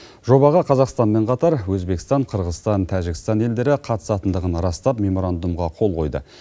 жобаға қазақстанмен қатар өзбекстан қырғызстан тәжікстан елдері қатысатындығын растап меморандумға қол қойды